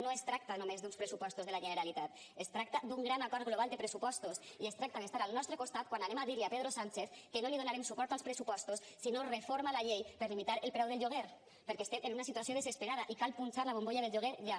no es tracta només d’uns pressupostos de la generalitat es tracta d’un gran acord global de pressupostos i es tracta d’estar al nostre costat quan anem a dir li a pedro sánchez que no li donarem suport als pressupostos si no reforma la llei per limitar el preu del lloguer perquè estem en una situació desesperada i cal punxar la bombolla del lloguer ja